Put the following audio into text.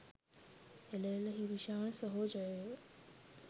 එළ එළ හිරුෂාන් සහෝ ජය වේවා